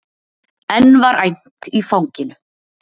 Enn var æmt í fanginu.